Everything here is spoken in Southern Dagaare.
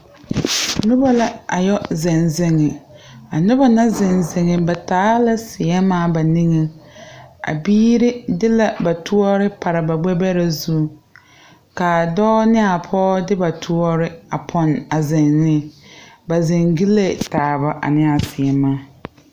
Nobɔ la a yɔ zeŋ zeŋe a nobɔ na zeŋ zeŋ ba taa la sèèmaa ba niŋeŋ a biire de la ba toɔre pare ba gbɛ bɛrɛ zu kaa dɔɔ ne a pɔɔ de ba toɔre a pɛne a zeŋ neŋ ba zeŋ gyilee taaba a neɛaa sèèmaa.